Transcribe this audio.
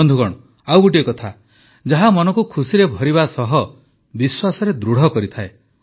ବନ୍ଧୁଗଣ ଆଉ ଗୋଟିଏ କଥା ଯାହା ମନକୁ ଖୁସିରେ ଭରିବା ସହ ବିଶ୍ୱାସରେ ଦୃଢ଼ କରିଥାଏ